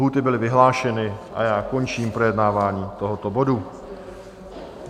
Lhůty byly vyhlášeny a já končím projednávání tohoto bodu.